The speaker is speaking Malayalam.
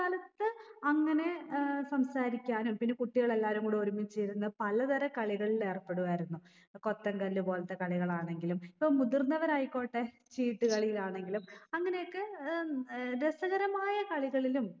കാലത്ത് അങ്ങനെ ഏർ സംസാരിക്കാനും പിന്നെ കുട്ടിയളെല്ലാരും കൂടി ഒരുമിച്ചിരുന്ന് പലതരം കളികളിൽ ഏർപ്പെടുവായിരുന്നു ഏർ കൊത്തൻകല്ല് പോൽത്തെ കളികാണെങ്കിലും ഇപ്പൊ മുതിർന്നവരായിക്കോട്ടെ ചീട്ട് കളീലാണെങ്കിലും അങ്ങനെയൊക്കെ ഉം ഏർ രസകരമായ കളികളിലും